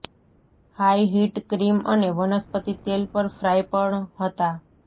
high heat cream અને વનસ્પતિ તેલ પર ફ્રાય પણ હતા